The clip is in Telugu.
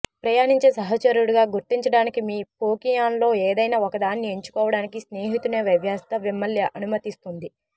ప్రయాణించే సహచరుడిగా గుర్తించడానికి మీ పోకీమాన్లో ఏదైనా ఒకదాన్ని ఎంచుకోవడానికి స్నేహితుని వ్యవస్థ మిమ్మల్ని అనుమతిస్తుంది